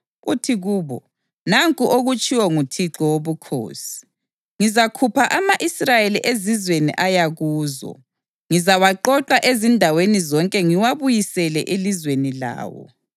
uthi kubo, ‘Nanku okutshiwo nguThixo Wobukhosi: Ngizakhupha ama-Israyeli ezizweni aya kuzo. Ngizawaqoqa ezindaweni zonke ngiwabuyisele elizweni lawo.